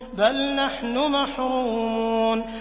بَلْ نَحْنُ مَحْرُومُونَ